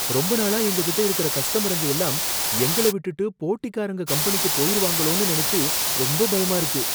ரொம்ப நாளா எங்ககிட்ட இருக்கிற கஸ்டமருங்க எல்லாம், எங்கள விட்டுட்டு போட்டிக்காரங்க கம்பெனிக்கு போயிருவாங்களோனு நனைச்சு ரொம்ப பயமா இருக்கு.